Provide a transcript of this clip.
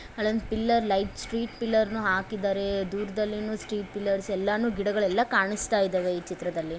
ಅಲ್ಲೊಂದು pillar light street ಪಿಲ್ಲರ ನ್ನು ಹಾಕಿದ್ದಾರೆ ದೂರದಲ್ಲಿನು ಸ್ಟ್ರೀಟ್ ಪಿಲ್ಲರ್ಸ್ ಎಲ್ಲಾನು ಗಿಡಗಳೆಲ್ಲವೂ ಕಾಣುಸ್ತಾ ಇದವೆ ಈ ಚಿತ್ರದಲ್ಲಿ.